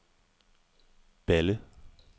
Balle